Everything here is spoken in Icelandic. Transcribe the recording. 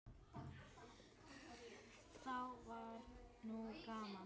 Þá var nú gaman.